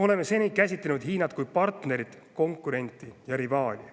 Oleme seni käsitlenud Hiinat kui partnerit, konkurenti ja rivaali.